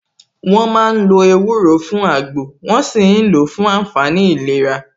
Wọ́n ma ń lo ewúro fún àgbò, wón ṣì ń lò ó fún àǹfààní ìlera